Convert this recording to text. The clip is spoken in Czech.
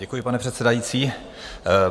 Děkuji, pane předsedající.